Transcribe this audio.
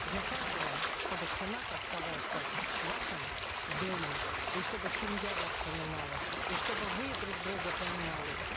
для каждого чтобы сенат оставался вашим домом и чтобы семья вас понимала и чтобы вы друг друга понимали